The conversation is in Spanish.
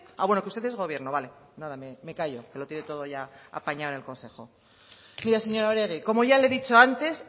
ahh bueno que usted es gobierno vale me callo que lo tiene todo ya apañado en el consejo mire señora oregi como ya le he dicho antes